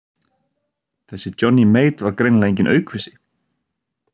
Þessi Johnny Mate var greinilega enginn aukvisi.